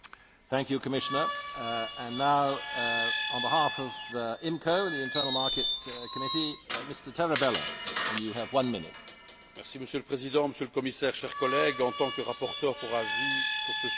Monsieur le Président, Monsieur le Commissaire, chers collègues, en tant que rapporteur pour avis sur ce sujet au sein de la commission du marché intérieur et de la protection des consommateurs, j'avais eu à cœur de trouver un équilibre entre les besoins de toutes les parties prenantes les consommateurs, bien sûr, et l'environnement